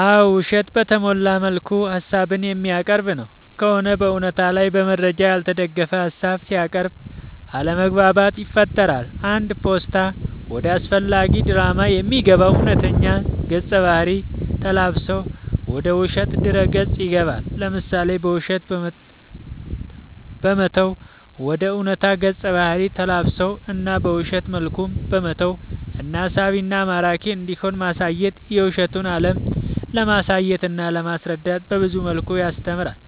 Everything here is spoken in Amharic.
አዎ ውሸትን በተሞላ መልኩ ሀሳብን የሚያቀርብ ነው ከሆነ በእውነታ ላይ በመረጃ ያልተደገፈ ሀሳብ ሲያቅርብ አለማግባባት ይፈጥራል አንድ ፓስታ ወደ አላስፈላጊ ድራማ የሚገባው እውነተኛ ገፀ ባህርይ ተላብሶ ወደ ውሸት ድረ ገፅ ይገባል። ለምሳሌ በውሸት በመተወን ወደ ዕውነታ ገፀ ባህሪ ተላብሶ እና በውሸት መልኩም በመተወን እና ሳቢና ማራኪ እንዲሆን ማሳየት የውሸቱን አለም ለማሳየትና ለማስረዳት በብዙ መልኩ ያስተምራል